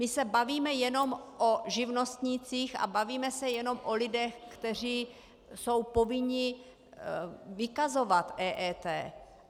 My se bavíme jenom o živnostnících a bavíme se jenom o lidech, kteří jsou povinni vykazovat EET.